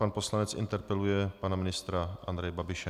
Pan poslanec interpeluje pana ministra Andreje Babiše.